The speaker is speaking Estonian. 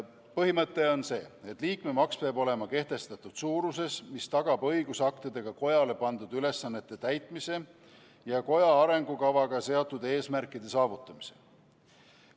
Põhimõte on see, et liikmemaks peab olema kehtestatud suuruses, mis tagab õigusaktidega kojale pandud ülesannete täitmise ja koja arengukavaga seatud eesmärkide saavutamise.